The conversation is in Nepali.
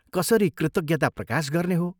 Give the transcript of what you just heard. कसरी कृतज्ञता प्रकाश गर्ने हो?